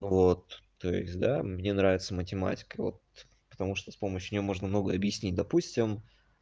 вот то есть да мне нравится математика вот потому что с помощью неё можно многое объяснить допустим